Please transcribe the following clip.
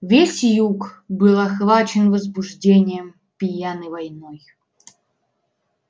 весь юг был охвачен возбуждением пьяной войной